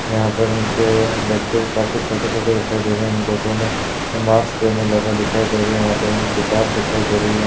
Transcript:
यहाँ पर इनके बच्चे काफी छोटे-छोटे दिखाई दे रहे हैं। इन लोगो ने मास्क पहने लगा दिखाई दे रहे है यहाँ पर हमें किताब दिखाई दे रही है।